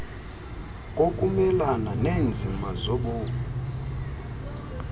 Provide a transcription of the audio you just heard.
kokumelana neenzima zobomi